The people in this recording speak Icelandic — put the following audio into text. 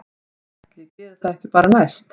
Ætli ég geri það ekki bara næst